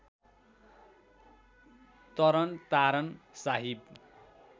Taran Taran Sahib